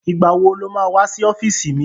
Ìgbà wo lo má wá sí ọ́fíìsì mi?